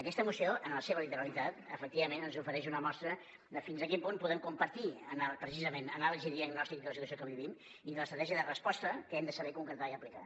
aquesta moció en la seva literalitat efectivament ens ofereix una mostra de fins a quin punt podem compartir precisament anàlisi i diagnòstic de la situació que vivim i de l’estratègia de resposta que hem de saber concretar i aplicar